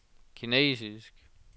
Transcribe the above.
kinesisk